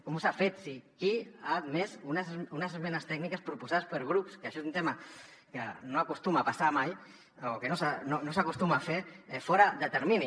com s’ha fet qui ha admès unes esmenes tècniques proposades per grups que això és un tema que no acostuma a passar mai o que no s’acostuma a fer fora de termini